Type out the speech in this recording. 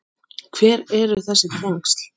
Hver eru þessi tengsl?